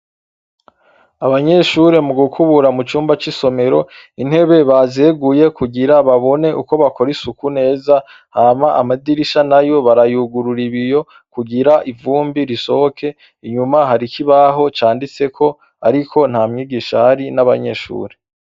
Abanyeshure mugukubura mucumba c’isomero, intebe bazeguye kugira babone uko bakora isuku neza hama amadirisha nayo barayugurura ibiyo kugira ivumbi risohoke, inyuma hari ikibaho canditseko ariko ntamwigisha ahari n’abanyeshure.